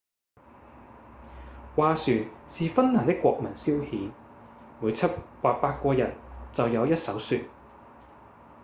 划船是芬蘭的國民消遣每七或八個人就有一艘船